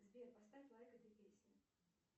сбер поставь лайк этой песне